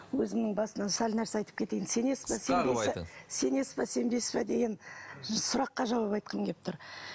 өзімнің басымнан сәл нәрсе айтып кетейін сенесіз бе сенесіз бе сенбейсіз бе деген сұраққа жауап айтқым келіп тұр